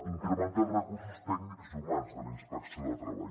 incrementar els recursos tècnics i humans de la inspecció de treball